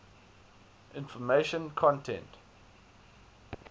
information content